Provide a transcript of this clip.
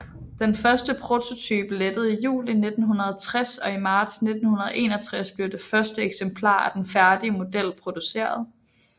Den første prototype lettede i juli 1960 og i marts 1961 blev det første eksemplar af den færdige model produceret